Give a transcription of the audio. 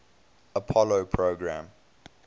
apollo program